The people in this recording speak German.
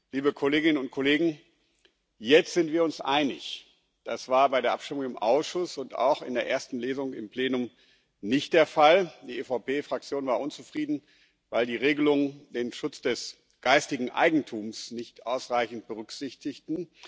Liebe Kolleginnen und Kollegen, jetzt sind wir uns einig. Das war bei der Abstimmung im Ausschuss und auch in der ersten Lesung im Plenum nicht der Fall. Die EVP Fraktion war unzufrieden, weil die Regelungen den Schutz des geistigen Eigentums nicht ausreichend berücksichtigten.